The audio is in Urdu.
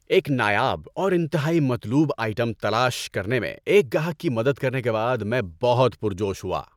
ایک نایاب اور انتہائی مطلوب آئٹم تلاش کرنے میں ایک گاہک کی مدد کرنے کے بعد میں بہت پرجوش ہوا۔